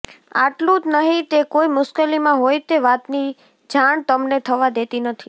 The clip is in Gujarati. આટલુંજ નહિ તે કોઇ મુશ્કેલીમાં હોય તે વાતની જાણ તમને થવા દેતી નથી